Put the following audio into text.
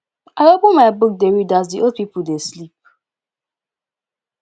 i open my book dey read as the old people dey sleep